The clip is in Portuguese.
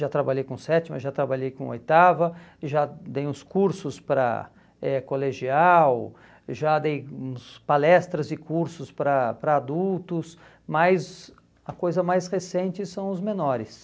Já trabalhei com sétima, já trabalhei com oitava, já dei uns cursos para eh colegial, já dei uns palestras e cursos para para adultos, mas a coisa mais recente são os menores.